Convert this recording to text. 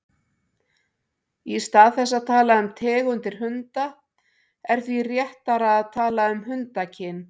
Í stað þess að tala um tegundir hunda er því réttara að tala um hundakyn.